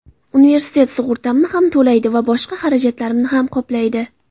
Universitet sug‘urtamni ham to‘laydi va boshqa xarajatlarimni ham qoplaydi.